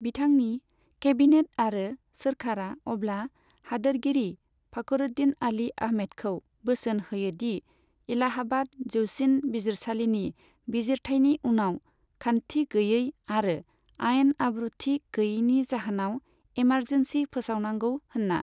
बिथांनि केबिनेट आरो सोरखारआ अब्ला होदोरगिरि फखरुद्दीन आली आहमेदखौ बोसोन होयो दि एलाहाबाद जौसिन बिजिरसालिनि बिजिरथायनि उनाव खान्थि गैयै आरो आइन आब्रुथि गैयैनि जाहोनाव एमारजेन्सि फोसावनांगौ होनना।